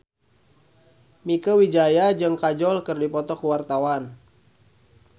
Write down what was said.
Mieke Wijaya jeung Kajol keur dipoto ku wartawan